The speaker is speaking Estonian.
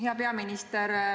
Hea peaminister!